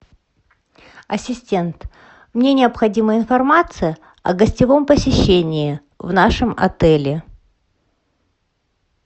ассистент мне необходима информация о гостевом посещении в нашем отеле